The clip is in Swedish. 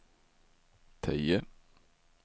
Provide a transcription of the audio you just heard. tio